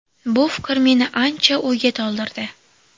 Bu fikr meni ancha o‘yga toldirdi.